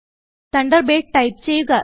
Thunderbird type ചെയ്യുക